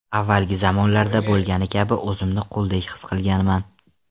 Avvalgi zamonlarda bo‘lgani kabi o‘zimni quldek his qilganman.